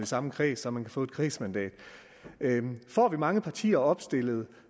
samme kreds så man kan få et kredsmandat får vi mange partier opstillet